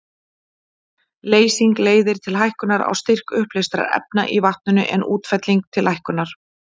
Leysing leiðir til hækkunar á styrk uppleystra efna í vatninu, en útfelling til lækkunar.